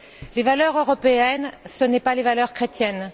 Les valeurs européennes, ce ne sont pas les valeurs chrétiennes.